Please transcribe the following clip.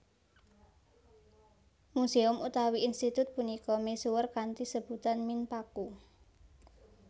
Museum utawi institut punika misuwur kanthi sebutan Minpaku